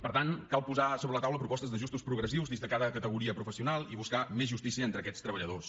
per tant cal posar sobre la taula propostes d’ajustos progressius dins de cada categoria professional i buscar més justícia entre aquests treballadors